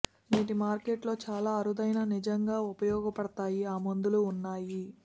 నేటి మార్కెట్ లో చాలా అరుదైన నిజంగా ఉపయోగపడతాయి ఆ మందులు ఉన్నాయి